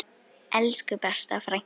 Elsku besta frænka.